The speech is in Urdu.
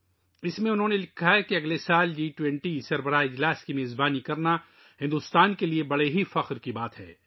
اس میں ، انہوں نے لکھا ہے کہ بھارت کے لئے اگلے سال جی 20 سربراہی اجلاس کی میزبانی کرنا بڑے فخر کی بات ہے